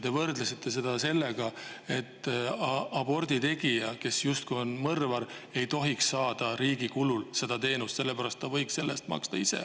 Te võrdlesite seda sellega, et aborditegija, kes on justkui mõrvar, ei tohiks seda teenust saada riigi kulul, ta võiks selle eest ise maksta.